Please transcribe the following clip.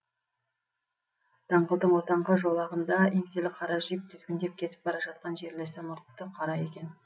даңғылдың ортаңғы жолағында еңселі қара жип тізгіндеп кетіп бара жатқан жерлесі мұртты қара екен